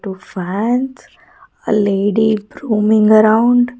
Two fans a lady grooming around --